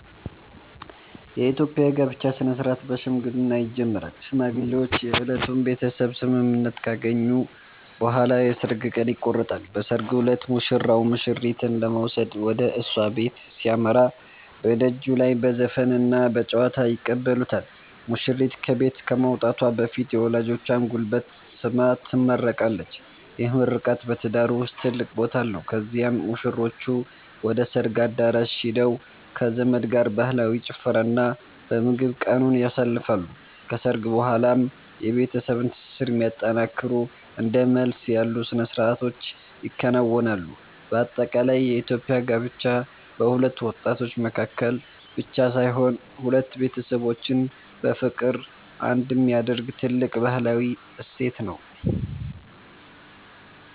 የኢትዮጵያ የጋብቻ ሥነ-ሥርዓት በሽምግልና ይጀምራል። ሽማግሌዎች የሁለቱን ቤተሰብ ስምምነት ካገኙ በኋላ የሰርግ ቀን ይቆረጣል። በሰርጉ ዕለት ሙሽራው ሙሽሪትን ለመውሰድ ወደ እሷ ቤት ሲያመራ፣ በደጅ ላይ በዘፈንና በጨዋታ ይቀበሉታል። ሙሽሪት ከቤት ከመውጣቷ በፊት የወላጆቿን ጉልበት ስማ ትመረቃለች፤ ይህ ምርቃት በትዳሩ ውስጥ ትልቅ ቦታ አለው። ከዚያም ሙሽሮቹ ወደ ሰርግ አዳራሽ ሄደው ከዘመድ ጋር በባህላዊ ጭፈራና በምግብ ቀኑን ያሳልፋሉ። ከሰርግ በኋላም የቤተሰብን ትስስር የሚያጠነክሩ እንደ መልስ ያሉ ሥነ-ሥርዓቶች ይከናወናሉ። በአጠቃላይ የኢትዮጵያ ጋብቻ በሁለት ወጣቶች መካከል ብቻ ሳይሆን፣ ሁለት ቤተሰቦችን በፍቅር አንድ የሚያደርግ ትልቅ ባህላዊ እሴት ነው።